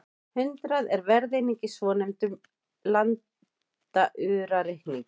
Hundrað er verðeining í svonefndum landaurareikningi.